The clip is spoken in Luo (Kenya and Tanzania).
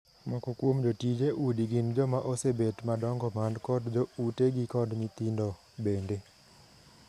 moko kuom jotije udi gin joma osebet madongo man kod jo utegi kod nyithindo bende.